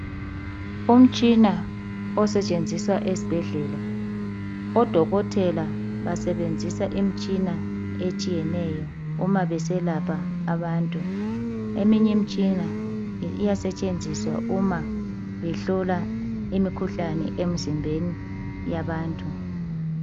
umtshina osetshenziswa esibhedlela odokotela basebenzisa imitshina ehlukeneyo nxa beselapha abantu eminye imitshina iyasetshenziswa uma behlola imikhuhlane emzimbeni yabantu